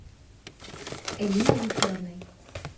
элиной викторовной